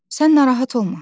Sən narahat olma.